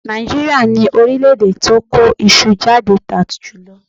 Nàìjíríà ni orílẹ̀-èdè tí ó kó iṣu jáde tà jùlọ.